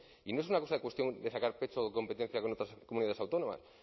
y no es una cuestión de sacar pecho o competencia con otras comunidades autónomas